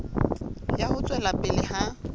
ya ho tswela pele ha